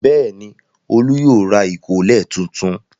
Bẹ́ẹ̀ ni, Olú yóò ra ìkọ́lẹ̀ tuntun.